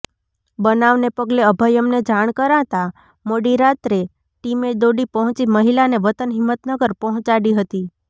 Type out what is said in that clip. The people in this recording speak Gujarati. બનાવને પગલે અભયમને જાણ કરાતાં મોડી રાત્રે ટીમે દોડી પહોંચી મહિલાને વતન હિંમતનગર પહોંચાડી હતી